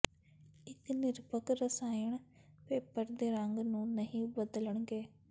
ਇੱਕ ਨਿਰਪੱਖ ਰਸਾਇਣ ਪੇਪਰ ਦੇ ਰੰਗ ਨੂੰ ਨਹੀਂ ਬਦਲਣਗੇ